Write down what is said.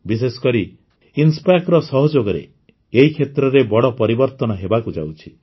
ବିଶେଷକରି ଇନସ୍ପେସ୍ ର ସହଯୋଗରେ ଏହି କ୍ଷେତ୍ରରେ ବଡ଼ ପରିବର୍ତନ ହେବାକୁ ଯାଉଛି